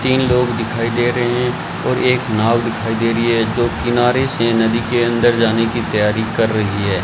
तीन लोग दिखाई दे रहे हैं और एक नाव दिखाई दे रही है जो किनारे से नदी के अंदर जाने की तैयारी कर रही है।